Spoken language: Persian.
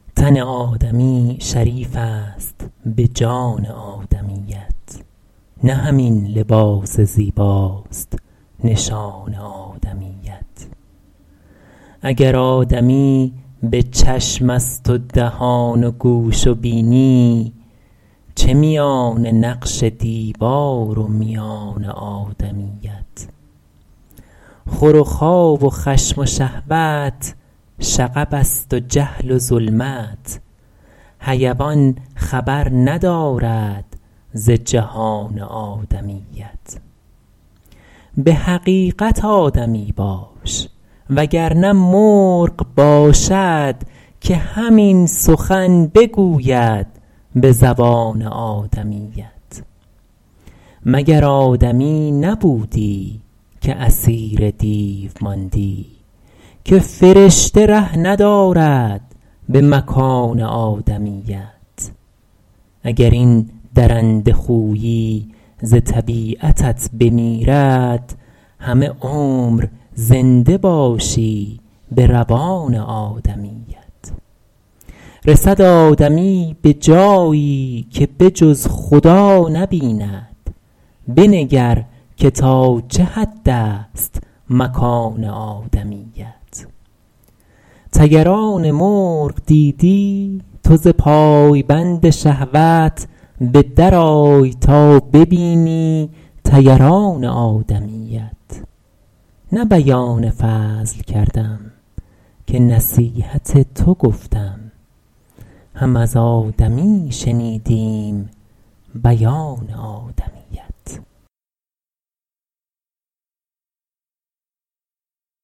تن آدمی شریف است به جان آدمیت نه همین لباس زیباست نشان آدمیت اگر آدمی به چشم است و دهان و گوش و بینی چه میان نقش دیوار و میان آدمیت خور و خواب و خشم و شهوت شغب است و جهل و ظلمت حیوان خبر ندارد ز جهان آدمیت به حقیقت آدمی باش وگر نه مرغ باشد که همین سخن بگوید به زبان آدمیت مگر آدمی نبودی که اسیر دیو ماندی که فرشته ره ندارد به مکان آدمیت اگر این درنده خویی ز طبیعتت بمیرد همه عمر زنده باشی به روان آدمیت رسد آدمی به جایی که به جز خدا نبیند بنگر که تا چه حد است مکان آدمیت طیران مرغ دیدی تو ز پایبند شهوت به در آی تا ببینی طیران آدمیت نه بیان فضل کردم که نصیحت تو گفتم هم از آدمی شنیدیم بیان آدمیت